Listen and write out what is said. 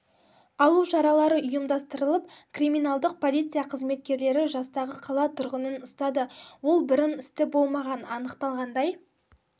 алу шаралары ұйымдастырылып криминалдық полиция қызметкерлері жастағы қала тұрғынын ұстады ол бұрын істі болмаған анықталғандай